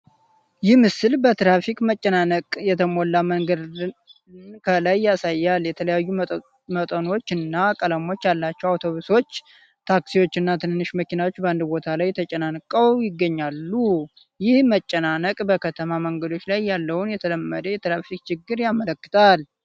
ይህ ምስል በትራፊክ መጨናነቅ የተሞላ መንገድን ከላይ ያሳያል። የተለያዩ መጠኖች እና ቀለሞች ያላቸው አውቶቡሶች፣ ታክሲዎችና ትንንሽ መኪናዎች በአንድ ቦታ ተጨናንቀው ይገኛሉ። ይህ መጨናነቅ በከተማ መንገዶች ላይ ያለውን የተለመደ የትራፊክ ችግር ያመለክታል።